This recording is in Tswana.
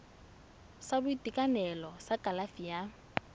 sa boitekanelo sa kalafi ya